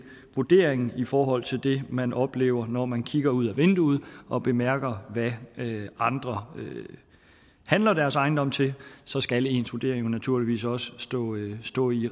vurderingen i forhold til det man oplever når man kigger ud af vinduet og bemærker hvad andre handler deres ejendom til så skal ens vurdering jo naturligvis også stå i stå i